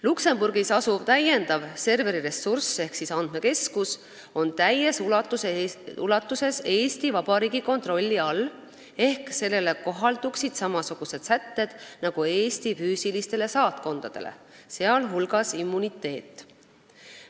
Luksemburgis asuv täiendav reserviressurss ehk andmekeskus on täies ulatuses Eesti Vabariigi kontrolli all ehk sellele kohalduksid samasugused sätted nagu Eesti füüsilistele saatkondadele, sh immuniteet.